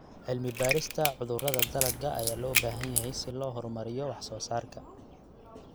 Cilmi-baarista cudurrada dalagga ayaa loo baahan yahay si loo horumariyo wax soo saarka.